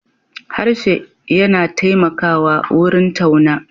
Harshe yana taimakawa wurin tauna.